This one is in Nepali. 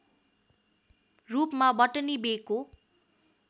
रूपमा बटनी बेको